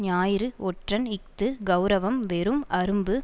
ஞாயிறு ஒற்றன் இஃது கெளரவம் வெறும் அரும்பு